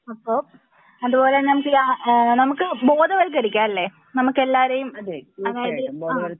അപ്പൊ അതുപോലെ നമുക്ക് നമുക്ക് ബോധവത്കരിക്കാം അല്ലെ നമുക്ക് എല്ലാവരേം അതായത് ആഹ്